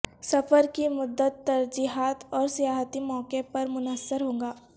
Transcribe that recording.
سفر کی مدت ترجیحات اور سیاحتی مواقع پر منحصر ہوگا